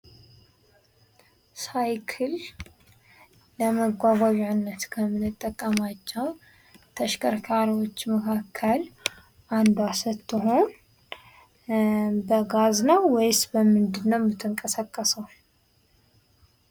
ሳይክል ለመጓጓዣነት ከምንጠቀማቸው ተሽከርካሪወች መካከል አንዷ ስትሆን በጋዝ ነው ወይስ በምንድን ነው የምትንቀሳቀሰው?